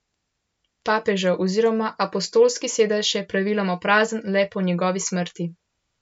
Papežev oziroma apostolski sedež je praviloma prazen le po njegovi smrti.